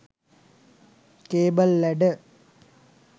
cable ladder